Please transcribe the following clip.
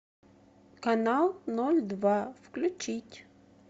канал ноль два включить